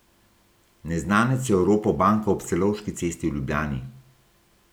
Neznanec je oropal banko ob Celovški cesti v Ljubljani.